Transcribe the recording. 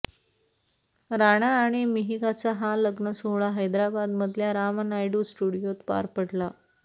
राणा आणि मिहिकाचा हा लग्नसोहळा हैदराबादमधल्या रामानायडू स्टुडिओत पार पडला